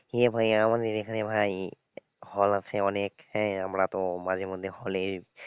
হ্যাঁ ভাই আমাদের এখানে ভাই hall আছে অনেক হ্যাঁ আমরা তো মাঝেমধ্যে hall এ,